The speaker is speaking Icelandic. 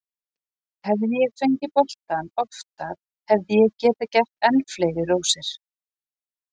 Hefði ég fengið boltann oftar hefði ég getað gert enn fleiri rósir.